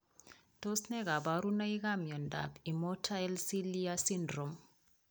Tos ne kaborunoikap miondop immotile cilia syndrome